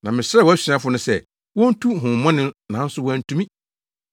Na mesrɛɛ wʼasuafo no sɛ wontu honhommɔne no nanso wɔantumi.”